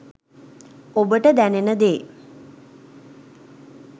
ඔබට දැනෙන දේ